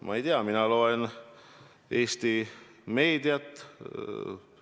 Ma ei tea, mina loen Eesti meediat.